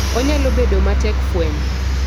Onyalo bedo matek fwenyo.